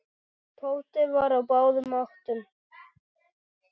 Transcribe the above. Tóti var á báðum áttum.